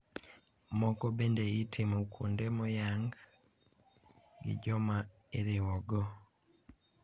Moko bende itimo kuonde moyang gi joma iriwo go.